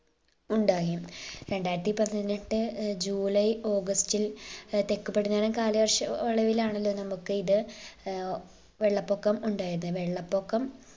ഉണ്ടായി. രണ്ടായിരത്തി പതിനെട്ട് ഏർ ജൂലൈ ഓഗസ്റ്റിൽ ഏർ തെക്ക് പടിഞ്ഞാറൻ കാലവർഷ അളവിലാണല്ലോ നമുക്ക് ഇത് ഏർ വെള്ളപൊക്കം ഉണ്ടായത്. വെള്ളപ്പൊക്കം